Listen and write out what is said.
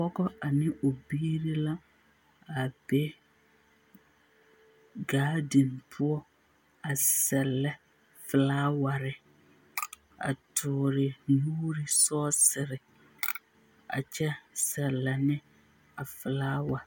Pɔgɔ ane o biiri la, a be gaadiŋ poɔ, a sɛllɛ felaaware, a toore nuuri sɔɔsere, a kyɛ sɛllɛ ne a felaawa.